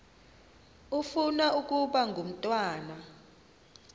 ufuna ukaba ngumntwana